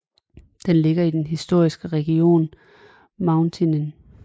Den ligger i den historiske region Muntenien